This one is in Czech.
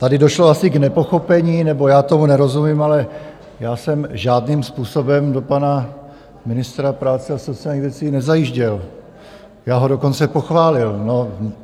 Tady došlo asi k nepochopení - nebo já tomu nerozumím - ale já jsem žádným způsobem do pana ministra práce a sociálních věcí nezajížděl, já ho dokonce pochválil.